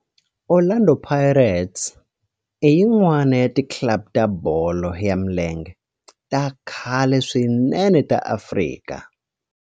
Orlando Pirates i yin'wana ya ti club ta bolo ya milenge ta khale swinene ta Afrika.